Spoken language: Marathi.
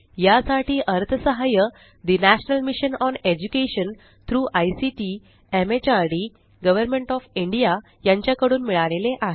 यासाठी अर्थसहाय्य the national mission on education through ICT MHRD government of India यांच्या कडून मिळाले आहे